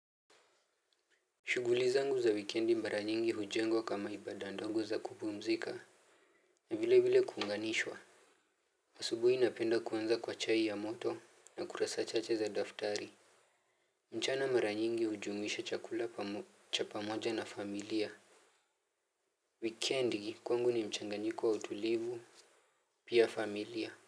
Shuguli zangu za wikendi mara nyingi hujengwa kama ibada ndongo za kupumzika. Na vile vile kuunganishwa. Asubuhi napenda kuanza kwa chai ya moto na kurasa chache za daftari. Mchana mara nyingi hujumuisha chakula cha pamoja na familia. Wikendi kwangu ni mchanganyyiko wa utulivu. Pia familia.